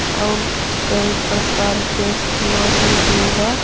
और कई प्रकार के खिलौने भी है।